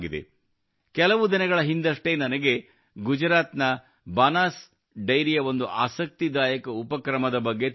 ಕೆಲವ ದಿನಗಳ ಹಿಂದಷ್ಟೇ ನನಗೆ ಗುಜರಾತ್ ನ ಬನಾಸ್ ಡೈರಿಯ ಒಂದು ಆಸಕ್ತಿದಾಯಕ ಉಪಕ್ರಮದ ಬಗ್ಗೆ ತಿಳಿದುಬಂದಿತು